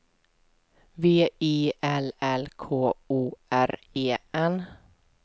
V I L L K O R E N